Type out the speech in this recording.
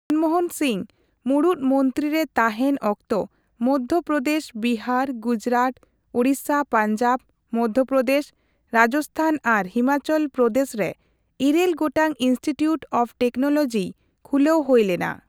ᱢᱚᱱᱢᱳᱦᱚᱱ ᱥᱤᱝᱦᱚ ᱢᱩᱲᱩᱛ ᱢᱚᱱᱛᱤᱨᱤ ᱛᱟᱦᱮᱱ ᱚᱠᱛᱚ ᱚᱱᱫᱷᱚᱯᱨᱚᱫᱮᱥ, ᱵᱤᱦᱟᱨ, ᱜᱩᱡᱨᱟᱴ, ᱩᱲᱤᱥᱟ, ᱯᱟᱧᱡᱟᱵ, ᱢᱚᱫᱷᱚᱯᱨᱚᱫᱮᱥ, ᱨᱟᱡᱛᱷᱟᱱ ᱟᱨ ᱦᱤᱢᱟᱪᱚᱞ ᱯᱨᱚᱫᱮᱥᱨᱮ ᱤᱨᱟᱹᱞ ᱜᱚᱴᱟᱝ ᱤᱱᱥᱴᱤᱴᱤᱣᱴ ᱚᱯᱷ ᱴᱮᱠᱱᱳᱞᱚᱡᱤ ᱠᱷᱩᱞᱟᱹᱣ ᱦᱳᱭ ᱞᱮᱱᱟ ᱾